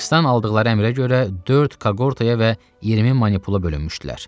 Kriksdən aldıqları əmrə görə dörd kaqortaya və 20 manipula bölünmüşdülər.